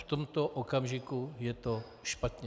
V tomto okamžiku je to špatně.